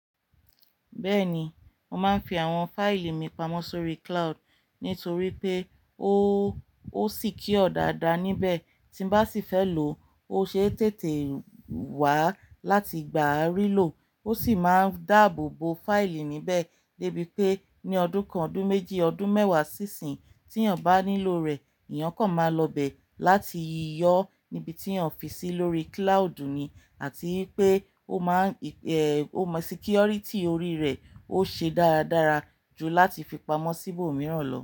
Bẹ́ẹ̀ni, mo máa ń fi àwọn fáìlì mi pamọ́ sórí cloud nítorí pé ó, ó sì kí ọ dáadáa níbẹ̀. Tín bá sì fẹ́ lò ó, o ṣe é tètè wá láti gbá a rí lò. Ó sì máa ń dáàbò bo fáìlì níbẹ̀ dé bi pé ní ọdún kan, ọdún méjì, ọdún mẹ́wàá sí ìsín, tí èèyàn bá nílò rẹ̀, èèyàn kan máa lọ bẹ̀ láti yọ níbi tí èèyàn fi sí lórí cloud ni. Àti pé ó má ń, eh, ó mọ security orí rẹ̀ ó ṣe dáradára ju láti fi pamọ́ sí ibòmíràn lọ.